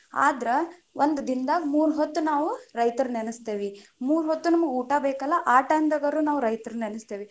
ಆದ್ರ, ಒಂದ ದಿನದಾಗ ಮೂರ್ ಹೊತ್ತು ನಾವು ರೈತರ ನೆನಸ್ತೇವಿ, ಮೂರ್ ಹೊತ್ತು ನಮಗ ಊಟಾ ಬೇಕಲ್ಲಾ ಆ time ದಾಗರ ನಾವು ರೈತರ ನೆನಸತೇವಿ.